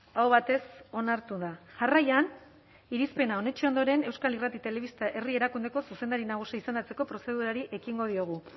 aho batez onartu da jarraian irizpena onetsi ondoren euskal irrati telebista herri erakundeko zuzendari nagusia izendatzeko prozedurari ekingo diogu